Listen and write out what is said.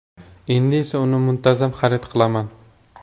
Endi esa uni muntazam xarid qilaman”.